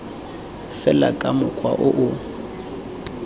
fela ka mokgwa o o